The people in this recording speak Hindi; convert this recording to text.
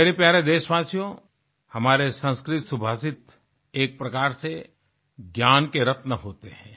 मेरे प्यारे देशवासियों हमारे संस्कृत सुभाषित एक प्रकार से ज्ञान के रत्न होते हैं